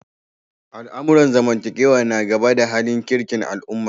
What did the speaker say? Al'amuran zamantakewa na gaba da halin kirkin al'umma.